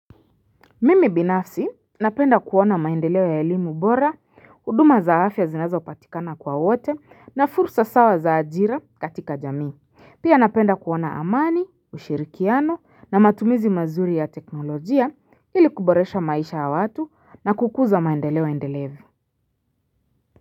Mimi binafsi napenda kuona maendeleo ya elimu bora, huduma za afya ya zinazopatikana kwa wote na fursa sawa za ajira katika jamii, pia napenda kuona amani, ushirikiano na matumizi mazuri ya teknolojia ili kuboresha maisha ya watu na kukuza maendeleo endelevu.